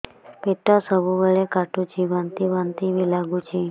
ପେଟ ସବୁବେଳେ କାଟୁଚି ବାନ୍ତି ବାନ୍ତି ବି ଲାଗୁଛି